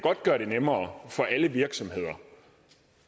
gøre det nemmere for alle virksomheder